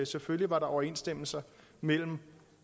selvfølgelig var der overensstemmelse mellem